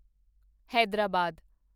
Hyderabad